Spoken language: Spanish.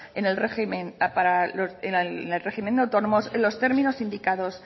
en el régimen de autónomos en los términos indicados